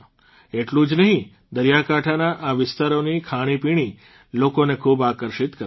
એટલું જ નહીં દરિયાકાંઠાના આ વિસ્તારોની ખાણીપીણી લોકોને ખૂબ આકર્ષિત કરે છે